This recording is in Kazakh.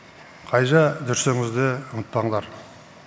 қайда жүрсеңіз де ұмытпаңдар